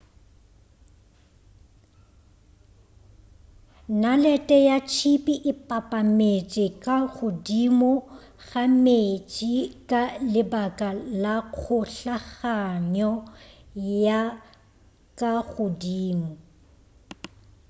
nalete ya tšhipi e papametše ka godimo ga meetse ka lebaka la kgohlaganyo ya ka godimo